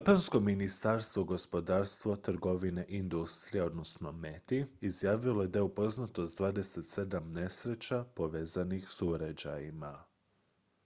japansko ministarstvo gospodarstva trgovine i industrije meti izjavilo je da je upoznato s 27 nesreća povezanih s uređajima